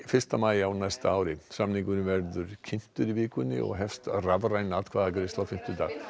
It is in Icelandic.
fyrsta maí á næsta ári samningurinn verður kynntur í vikunni og hefst rafræn atkvæðagreiðsla á fimmtudag